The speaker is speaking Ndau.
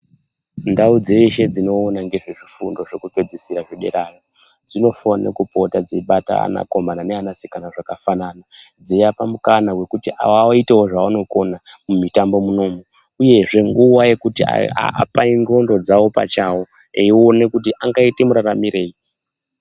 Ndau dzeshe dzinoona ngezvezvifundo zvekupedzisira zvederayo dzinofanira kupota dzeibata anakomana neanasikana zvakafanana dzeiapa mukana wekuti vaitewo zvavanokona mumitambo munomu uyezve nguwa yekuti apane ndxondo dzawo pachawo eiona kuti angaita muraramirei.